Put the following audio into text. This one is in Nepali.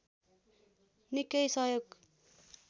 निकै सहयोग